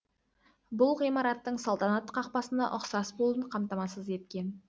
бүл ғимараттың салтанат қакпасына ұқсас болуын қамтамасыз еткен